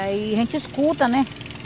Aí a gente escuta, né?